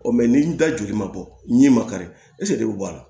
ni da joli ma bɔ ɲɛ ma kari de bɛ bɔ a la